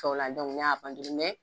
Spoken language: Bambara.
n y'a mɛ